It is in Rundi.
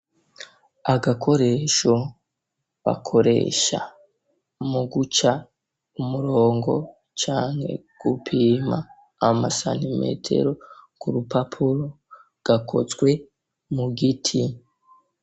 Agakoresho bakoresha muguca umurongo canke gupima amasantimetero ku rupapuro gakozwe mu giti.